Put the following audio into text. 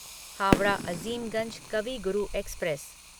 Howrah Azimganj Kavi Guru express